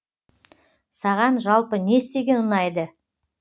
саған жалпы не істеген ұнайды